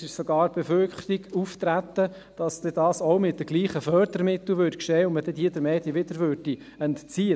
Es trat sogar die Befürchtung auf, dass dies auch mit denselben Fördermitteln geschähe und man diese den Medien wieder entzöge.